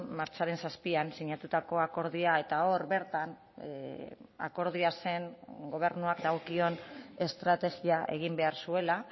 martxoaren zazpian sinatutako akordioa eta hor bertan akordioa zen gobernuak dagokion estrategia egin behar zuela